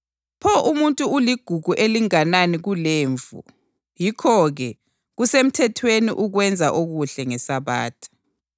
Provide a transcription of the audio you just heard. Pho umuntu uligugu elinganani kulemvu! Yikho-ke, kusemthethweni ukwenza okuhle ngeSabatha.”